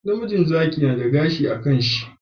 Namijin Zaki nada gashi a kan shi